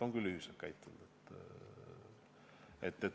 On küll ühiselt käitunud.